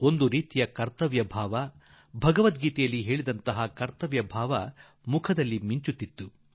ಒಂದು ರೀತಿಯ ಕರ್ತವ್ಯ ಭಾವಗೀತೆಯಲ್ಲಿ ತಿಳಿಸುವ ಕರ್ತವ್ಯದ ಲಕ್ಷಣಗಳ ಸುಸ್ಪಷ್ಟ ಸಾಕ್ಷಾತ್ ರೂಪ ಕಾಣಸಿಕ್ಕಿತು